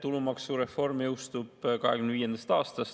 Tulumaksureform jõustub 2025. aastal.